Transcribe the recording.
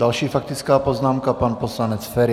Další faktická poznámka, pan poslanec Feri.